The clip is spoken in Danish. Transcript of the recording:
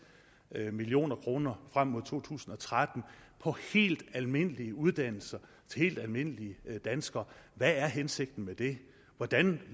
million kroner frem til to tusind og tretten på helt almindelige uddannelser til helt almindelige danskere hvad er hensigten med det hvordan